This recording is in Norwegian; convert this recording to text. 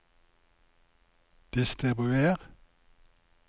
distribuer